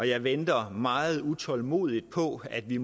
jeg venter meget utålmodigt på at vi